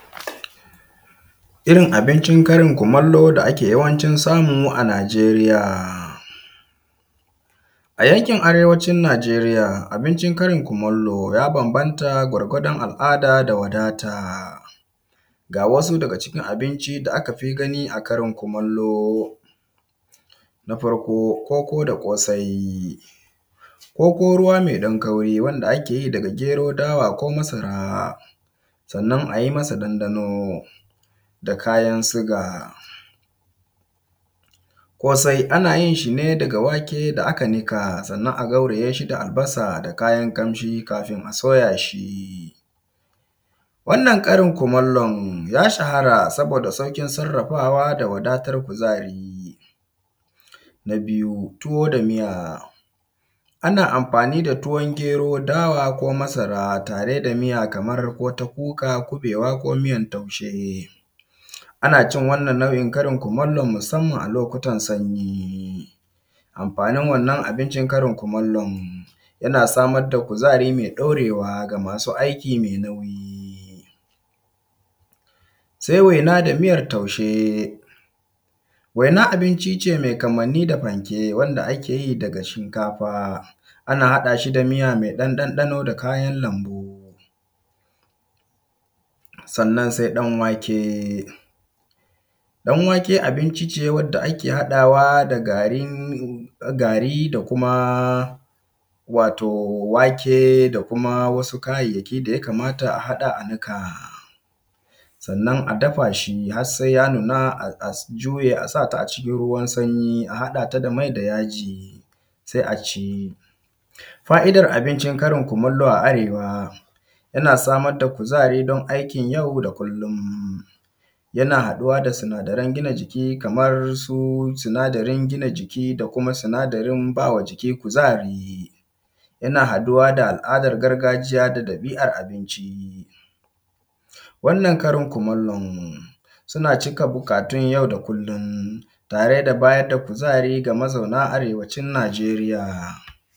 Irrin abincin Karin kumallo da ake yawancin samu a nijeriya. A yankin arewacin najeriya abincin Karin kumallo ya banbanata gwargwadon al’ada da wadata ga wasu daga cikin abinci da akafi gani a Karin kumallo. Na farko koko da kosai koko ruwa mai ɗan kauri wanda keyi daga gero, dawa ko masa sannan ayi masa ɗan ɗano da kayan siga. Kosai anayin shine daga wake da aka nika sannan a gaurayashi da albasa da kayan kamshi akafin a soyashi. Wannan Karin kumallon ya shahara saboda saukin sarrafawa dacwadatan kuzari. Na biyu tuwo da miya ana amfani da tuwon gero dawa ko masara tare da miya kamar kota kuka, kuɓewa ko miyan taushe. Anacin wannan nau’ikan Karin kumallon musamman a lokutan sanyi. Amfanin wannan abincin Karin kumallon yana samar da kuzari me ɗorewa ga masu aiki mai nauyi. Sai waina da miyan taushe waina abince mai kamanni da fanke wanda akeyi daga shinkafa ana haɗashi da miya mai ɗan ɗano da kayan lambu. Sannan sai ɗan wake. ɗan wake abince wanda ake haɗawa da gari kuma wato wake da kuma wasu kayayyaki daya kamata a haɗa a niƙa, sannan a dafashi harsai yanuna a juyeshi a sata a cikin ruwan sanyi a haɗata da mai da yaji sa’a. fa’idan abincin Karin kumallo a arewa yana samar da kuzari dan aikin yau da kullum, yana haɗuwa da sinaran gina jiki kamar su sinadarin jina jiki da kumasinadarin bawa jiki kuzari, yana haɗuwa da al’adar gargajiya da ɗabi’ar abincin wannan Karin kumallon suna cika buƙatun yau da kullum tare da bayar da kuzari ga mazau na arewacin najeriya.